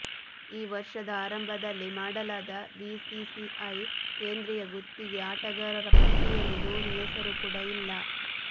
ಈ ವರ್ಷದ ಆರಂಭದಲ್ಲಿ ಮಾಡಲಾದ ಬಿಸಿಸಿಐ ಕೇಂದ್ರಿಯ ಗುತ್ತಿಗೆ ಆಟಗಾರರ ಪಟ್ಟಿಯಲ್ಲಿ ಧೋನಿ ಹೆಸರು ಕೂಡಾ ಇಲ್ಲ